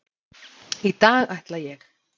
Í dag ætla ég.